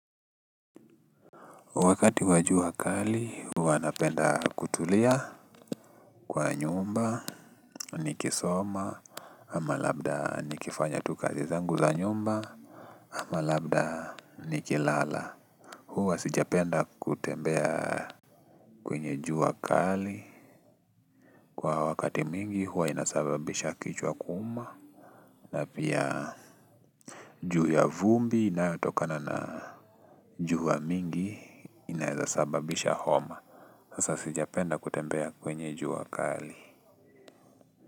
Wakati wa jua kali, huwa napenda kutulia kwa nyumba, nikisoma, ama labda nikifanya tu kazi zangu za nyumba, ama labda nikilala. Huwa sijapenda kutembea kwenye juu wakali. Kwa wakati mwingi, huwa inasababisha kichwa kuuma. Na pia juu ya vumbi inayotokana na jua nyingi inaweza kusababisha homa. Sasa sijapenda kutembea kwenye jua kali.